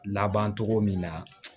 Laban cogo min na